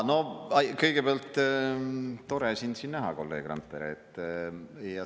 Kõigepealt, tore sind siin näha, kolleeg Randpere.